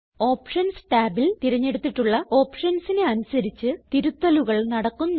options ടാബിൽ തിരഞ്ഞെടുത്തിട്ടുള്ള ഓപ്ഷൻസിന് അനുസരിച്ച് തിരുത്തലുകൾ നടക്കുന്നു